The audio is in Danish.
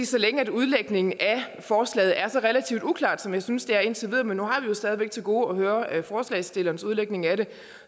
så længe udlægningen af forslaget er så relativt uklar som jeg synes den er indtil videre men nu har vi jo stadig væk til gode at høre forslagsstillernes udlægning af det